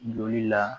Joli la